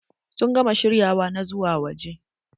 Sun gama shiryawa na zuwa waje?